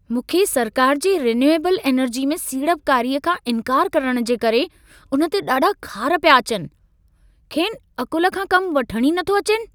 मूंखे सरकार जे रिन्यूएबल एनर्जी में सीड़पकारीअ खां इंकार करण जे करे, उन ते ॾाढा ख़ार पिया अचनि। खेनि अक़ुल खां कमु वठण ई न थो अचेनि।